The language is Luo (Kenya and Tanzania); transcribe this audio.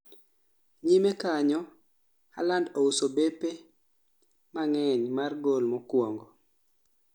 Nyime kanyo Haaland ouso bape mang'eny mar gol mokuongo